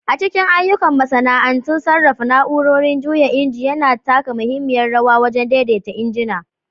A cikin ayyukan masana'antu, sarrafa na'urorin juya inji yana taka muhimmiyar rawa wajen daidaita injina.